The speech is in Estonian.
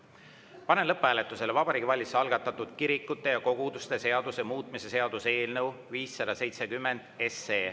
Panen lõpphääletusele Vabariigi Valitsuse algatatud kirikute ja koguduste seaduse muutmise seaduse eelnõu 570.